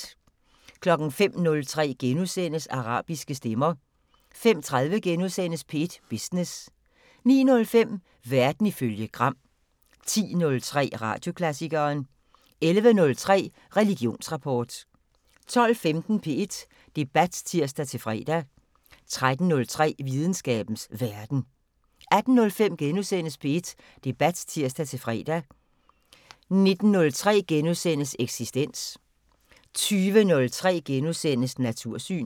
05:03: Arabiske stemmer * 05:30: P1 Business * 09:05: Verden ifølge Gram 10:03: Radioklassikeren 11:03: Religionsrapport 12:15: P1 Debat (tir-fre) 13:03: Videnskabens Verden 18:05: P1 Debat *(tir-fre) 19:03: Eksistens * 20:03: Natursyn *